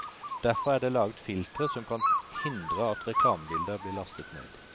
Derfor er det laget filtre som kan hindre at reklamebilder blir lastet ned.